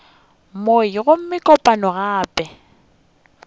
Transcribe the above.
mei gomme kopano ya pele